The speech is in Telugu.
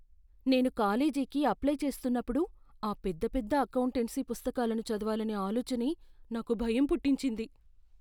నేను కాలేజీకి అప్లై చేస్తున్నప్పుడు ఆ పెద్ద పెద్ద అకౌంటెన్సీ పుస్తకాలను చదవాలనే ఆలోచనే నాకు భయం పుట్టించింది.